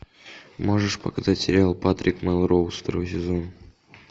можешь показать сериал патрик мелроуз второй сезон